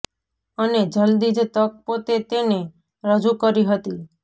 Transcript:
અને જલ્દી જ તક પોતે તેને રજૂ કરી હતી